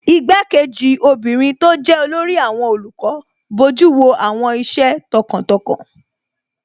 Igbá-kejì obìnrin tó jẹ́ olórí àwọn olùkọ́ bojú wo àwọn iṣẹ́ tọkàntọkàn